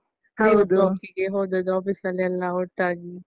ಹೋದದ್ದು office ಅಲ್ಲೆಲ್ಲ ಒಟ್ಟಾಗಿ.